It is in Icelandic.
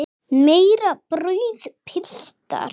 Meira brauð, piltar?